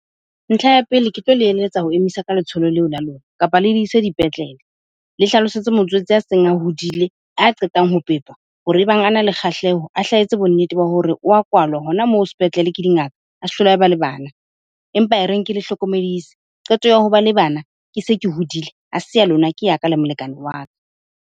Ntlha ya pele ke tlo le eletsa ho emisa ka letsholo leo la lona kapa le di ise dipetlele. Le hlalosetse motswetse a seng a hodile, a qetang ho pepa hore ebang a na le kgahleho a hla etse bonnete ba hore o wa kwalwa hona moo sepetlele ke dingaka, a se hlole a ba le bana. Empa e reng ke le hlokomedise, qeto ya ho ba le bana ke se ke hudile. Ha se ya lona, ke ya ka le molekane wa ka.